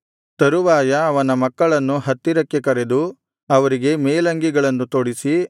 ತರುವಾಯ ಅವನ ಮಕ್ಕಳನ್ನು ಹತ್ತಿರಕ್ಕೆ ಕರೆದು ಅವರಿಗೆ ಮೇಲಂಗಿಗಳನ್ನು ತೊಡಿಸಿ